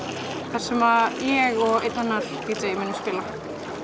þar sem ég og einn annar d j munum spila